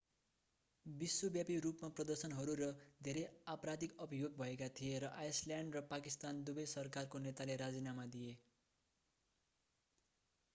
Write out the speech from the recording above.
विश्वव्यापी रूपमा प्रदर्शनहरू र धेरै आपराधिक अभियोग भएका थिए र आइसल्यान्ड र पाकिस्तान दुबै सरकारका नेताले राजीनामा दिए